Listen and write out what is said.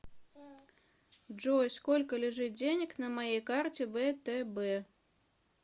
джой сколько лежит денег на моей карте втб